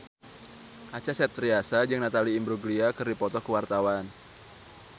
Acha Septriasa jeung Natalie Imbruglia keur dipoto ku wartawan